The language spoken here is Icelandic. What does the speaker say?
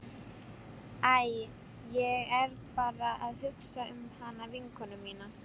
Æ, ég er bara að hugsa um hana vinkonu mína.